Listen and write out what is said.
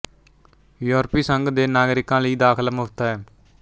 ਯੂਰਪੀ ਸੰਘ ਦੇ ਨਾਗਰਿਕਾਂ ਲਈ ਦਾਖਲਾ ਮੁਫ਼ਤ ਹੈ